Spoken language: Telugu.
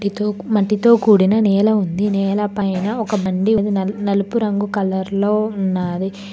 తూ మట్టితో కూడిన నేల ఉంది నేలపైన ఒక బండి ఉంది నలుపు రంగు కలర్ లో ఉన్నాది.